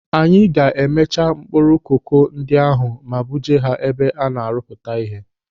Anyị ga-emecha mkpụrụ koko ndị ahụ ma buje ha ebe a na-arụpụta ihe.